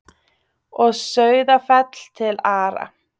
Og Sauðafell til Ara.